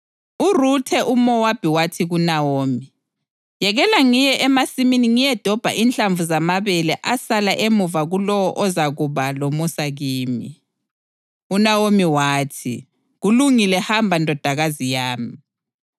URuthe umʼMowabi wathi kuNawomi, “Yekela ngiye emasimini ngiyedobha inhlamvu zamabele asala emuva kulowo ozakuba lomusa kimi.” UNawomi wathi, “Kulungile, hamba ndodakazi yami.”